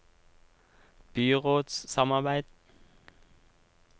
byrådssamarbeid